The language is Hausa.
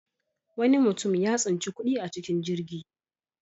Wani mutum ya tsinci kuɗi a cikin jirgi.